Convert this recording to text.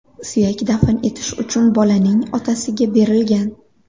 Suyak dafn etish uchun bolaning otasiga berilgan.